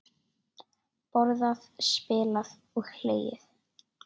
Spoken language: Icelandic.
Borðað, spilað og hlegið.